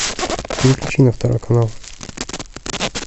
переключи на второй канал